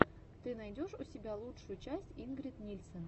ты найдешь у себя лучшую часть ингрид нильсен